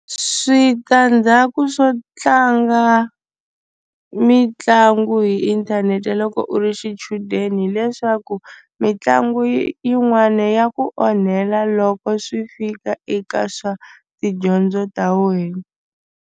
Switandzhaku swo tlanga mitlangu hi inthanete loko u ri xichudeni hileswaku mitlangu yin'wana ya ku onhela loko swi fika eka swa tidyondzo ta wena.